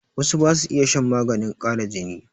Wasu ba su iya shan maganin ƙara jini.